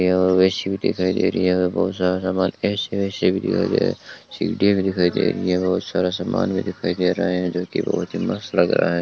यहां पर बेसिन दिखाई दे रही है यहां पे बहुत सारा समान ऐसे वैसे भी दिखाई दे रहा है सीढ़ियां भी दिखाई दे रही है यहां बहुत सारा समान भी दिखाई दे रहा है जोकि बहुत ही मस्त लग रहा है।